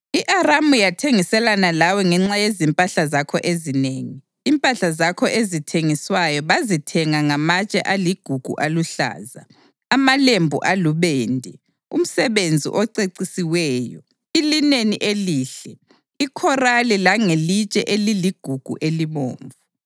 I-Aramu yathengiselana lawe ngenxa yezimpahla zakho ezinengi, impahla zakho ezithengiswayo bazithenga ngamatshe aligugu aluhlaza, amalembu alubende, umsebenzi ocecisiweyo, ilineni elihle, ikhorali langelitshe eliligugu elibomvu.